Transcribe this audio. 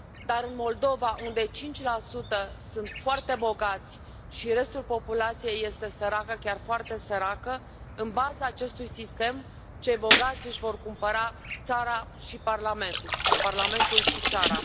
Dar, în Moldova, unde 5 sunt foarte bogați și restul populației este săracă, chiar foarte săracă, în baza acestui sistem cei bogați își vor cumpăra țara și parlamentul sau parlamentul și țara.